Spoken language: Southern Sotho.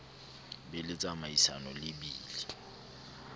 be le tsamaisano le bili